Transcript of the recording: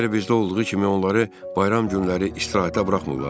Və əgər bizdə olduğu kimi onları bayram günləri istirahətə buraxmırlar?